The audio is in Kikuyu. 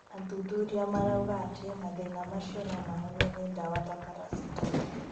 Athuthuria marauga atĩ mathĩna macio no mahonio nĩ ndawa ta paracetamol.